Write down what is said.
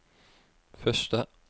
første